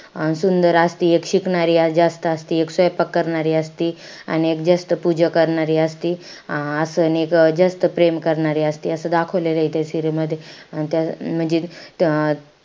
अं सुंदर असती, एक शिकणारी जास्त असती, एक स्वैपाक करणारी असती, आणि एक जास्त पूजा करणारी असती. अं अजून एक जास्त प्रेम करणारी असती. असं दाखवलेलंय त्या serial मध्ये. त्या म्हणजे,